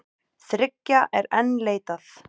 Þriggja er enn leitað.